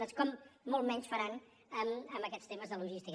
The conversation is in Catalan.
doncs com molt menys faran amb aquests temes de logística